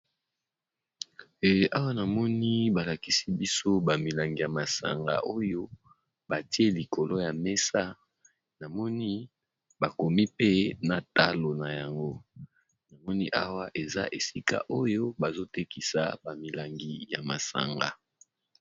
Awa na moni ba lakisi biso ba milangi ya masanga oyo ba tie likolo ya mesa, na moni ba komi pe na talo na yango . Na moni awa eza esika oyo bazo tekisa ba milangi ya masanga .